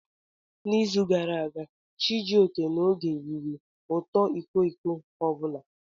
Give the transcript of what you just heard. N'izu gara aga, Chijioke na Oge riri otu iko iko ọ bụla.